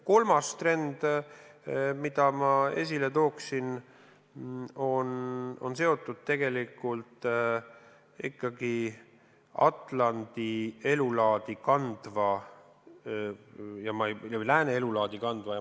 Kolmas trend, mille ma esile tooksin, on seotud Atlandi elulaadi ja lääne elulaadi kandvate riikide koostööga.